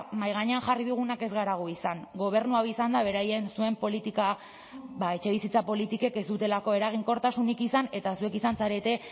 mahai gainean jarri dugunak ez gara gu izan gobernu hau izan da beraien zuen politika ba etxebizitza politikek ez dutelako eraginkortasunik izan eta zuek izan zarete